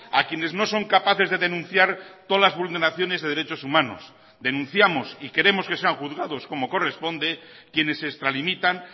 a quienes no son capaces de denunciar todas las vulneraciones de derechos humanos denunciamos y queremos que sean juzgados como corresponde quienes se extralimitan